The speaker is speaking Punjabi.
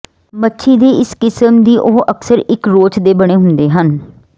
ਮੱਛੀ ਦੇ ਇਸ ਕਿਸਮ ਦੀ ਉਹ ਅਕਸਰ ਇੱਕ ਰੋਚ ਦੇ ਬਣੇ ਹੁੰਦੇ ਹਨ